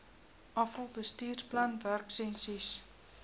afal bestuursplan werksessies